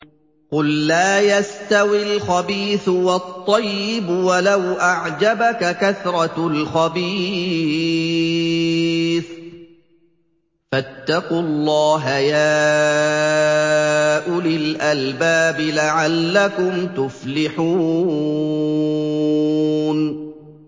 قُل لَّا يَسْتَوِي الْخَبِيثُ وَالطَّيِّبُ وَلَوْ أَعْجَبَكَ كَثْرَةُ الْخَبِيثِ ۚ فَاتَّقُوا اللَّهَ يَا أُولِي الْأَلْبَابِ لَعَلَّكُمْ تُفْلِحُونَ